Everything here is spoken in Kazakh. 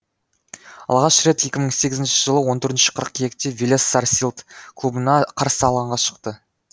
алғаш рет екі мың сегізінші жылы он төртінші қыркүйекте велес сарсилд клубына қарсы алаңға шықты